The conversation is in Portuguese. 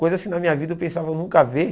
Coisas que na minha vida eu pensava nunca haver.